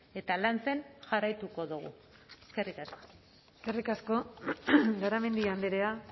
eta lantzen jarraituko dugu eskerrik asko eskerrik asko garamendi andrea